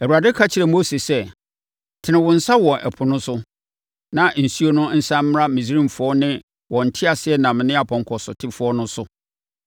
Awurade ka kyerɛɛ Mose sɛ, “Tene wo nsa wɔ ɛpo no so, na nsuo no nsane mmra Misraimfoɔ ne wɔn nteaseɛnam ne apɔnkɔsotefoɔ no so.”